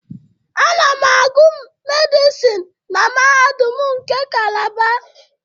Ana m agụ Medịsinu na Mahadum nke Calaba.